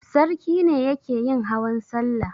Sarki ne yake yin hawan salla.